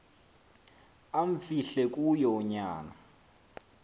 amfihle kuyo unyana